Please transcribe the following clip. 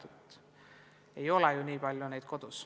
Neid ei ole ju kodus nii palju.